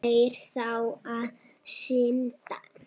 Þeir þrá að syndga.